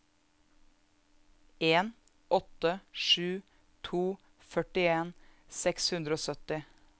en åtte sju to førtien seks hundre og sytti